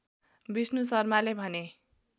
विष्णु शर्माले भने